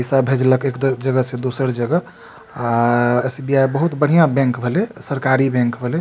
पैसा भेजलक एक जगह से दोसर जगह आ एस.बी.आई. बहुत बढ़िया बैंक भले सरकारी बैंक भले।